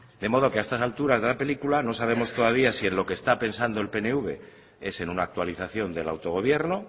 de modo que a estas alturas de la película no sabemos todavía si en lo que está pensando el pnv es en una actualización del autogobierno